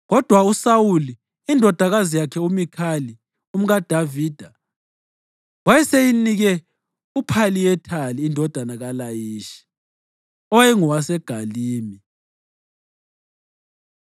Kodwa uSawuli, indodakazi yakhe uMikhali, umkaDavida, wayeseyinike uPhalithiyeli indodana kaLayishi, owayengowaseGalimi.